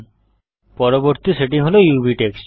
পরবর্তী সেটিং হল UV texture